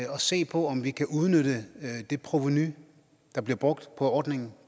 se på om vi kan udnytte det provenu der bliver brugt på ordningen